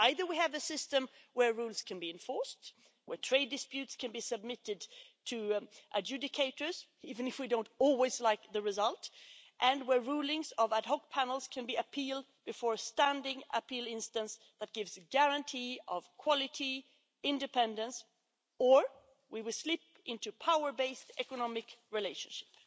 Either we have a system where rules can be enforced, where trade disputes can be submitted to adjudicators even if we don't always like the result and where rulings of ad hoc panels can be appealed before standing appeal instance that gives a guarantee of quality and independence, or we will slip into a power based economic relationship.